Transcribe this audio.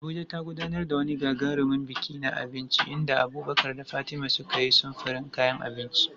Abuja ta gudanar da wani gagarumin biki na abinci inda Abubakar da Fatima suka yi samfurin kayan abinci.